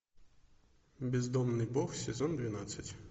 бездомный бог сезон двенадцать